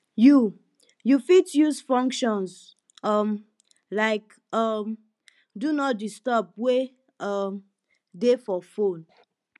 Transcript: you you fit use functions um like um do not disturb wey um dey for phone